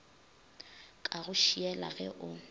ka go šiela ge o